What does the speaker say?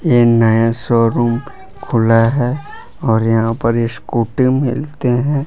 ये नया शोरूम खुला है और यहां पर स्कूटी मिलते है।